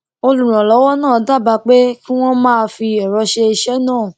olùrànlówó náà dábàá pé kí wón máa fi èrọ ṣe iṣé náà